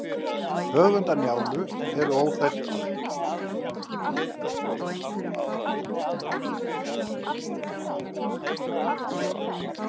höfundur njálu er óþekktur